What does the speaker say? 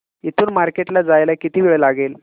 इथून मार्केट ला जायला किती वेळ लागेल